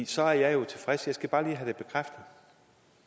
så er jeg jo tilfreds jeg skal bare lige have